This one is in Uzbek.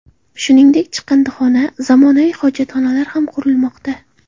Shuningdek, chiqindixona, zamonaviy hojatxonalar ham qurilmoqda.